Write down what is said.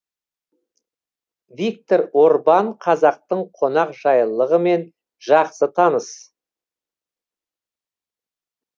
виктор орбан қазақтың қонақжайлылығымен жақсы таныс